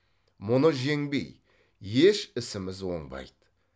мұны жеңбей еш ісіміз оңбайды